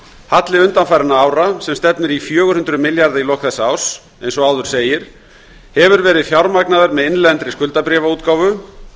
halli undanfarinna ára sem stefnir í fjögur hundruð milljarða í lok þessa árs eins og áður segir hefur verið fjármagnaður með innlendri skuldabréfaútgáfu og